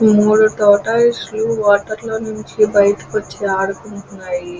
ఈ మూడు టోటయిస్ లు వాటర్ లో నుంచి బయటికి వచ్చి ఆడుకుంటున్నాయి.